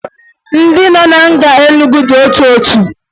Ndị nọ na nga Enugwu dị ọtụtụ